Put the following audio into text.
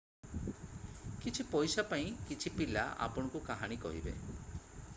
କିଛି ପଇସା ପାଇଁ କିଛି ପିଲା ଆପଣଙ୍କୁ କାହାଣୀ କହିବେ